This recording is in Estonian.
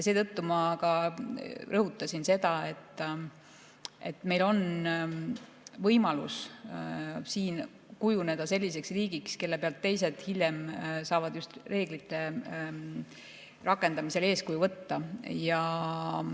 Seetõttu ma ka rõhutasin, et meil on võimalus siin kujuneda selliseks riigiks, kellest teised hiljem saavad reeglite rakendamisel eeskuju võtta.